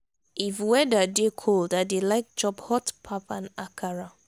if weather dey cold i dey like chop hot pap and akara